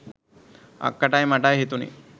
අක්කටයි මටයි හිතුනේ